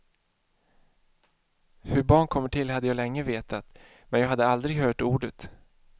Hur barn kommer till hade jag länge vetat, men jag hade aldrig hört ordet.